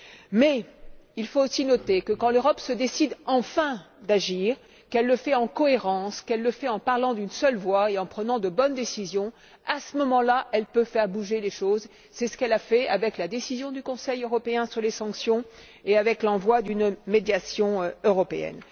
Mais il faut aussi noter que quand l'Europe se décide enfin à agir, qu'elle le fait avec cohérence, en parlant d'une seule voix et en prenant de bonnes décisions, à ce moment là, elle peut faire bouger les choses. C'est ce qu'elle a fait avec la décision du Conseil européen sur les sanctions et avec l'envoi d'une médiation européenne.